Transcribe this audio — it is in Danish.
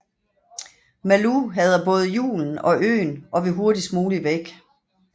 Malou hader både julen og øen og vil hurtigst muligt væk